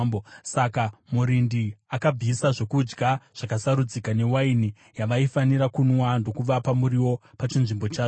Saka murindi akabvisa zvokudya zvakasarudzika newaini yavaifanira kunwa ndokuvapa muriwo pachinzvimbo chazvo.